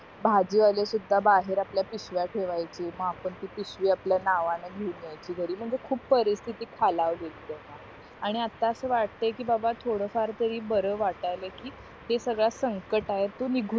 भाजीवाले सुद्धा बाहेर आपल्या पिशव्या ठेवायची मग आपण ती पिशवी आपल्या घेऊन यायची घरी म्हणजे खूप परिरस्तिथी खालावलेली तेव्हा आणि आता असं वाटतय कि बाबा थोडं फार तरी बरं वाटायल कि हे सगळं संकट आहे तो निघून